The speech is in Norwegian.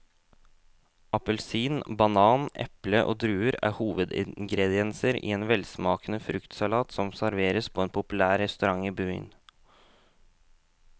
Appelsin, banan, eple og druer er hovedingredienser i en velsmakende fruktsalat som serveres på en populær restaurant i byen.